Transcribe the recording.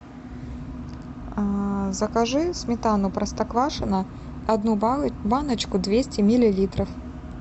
закажи сметану простоквашино одну баночку двести миллилитров